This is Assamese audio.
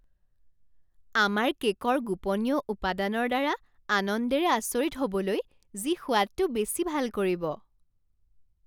আমাৰ কে'কৰ গোপনীয় উপাদানৰ দ্বাৰা আনন্দৰে আচৰিত হ'বলৈ, যি সোৱাদটো বেছি ভাল কৰিব।